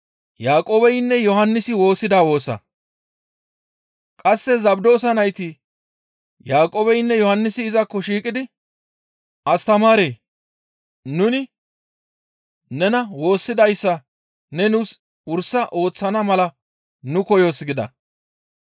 Qasse Zabdoosa nayti Yaaqoobeynne Yohannisi izakko shiiqidi, «Astamaaree! Nuni nena woossidayssa ne nuus wursa ooththana mala nu koyoos» gida.